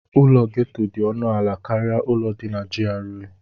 Ụlọ gétò dị ọnụ ala karịa ụlọ ndị dị na GRA